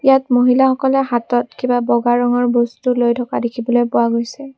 ইয়াত মহিলাসকলে হাতত কিবা বগা ৰঙৰ বস্তু লৈ থকা দেখিবলৈ পোৱা গৈছে।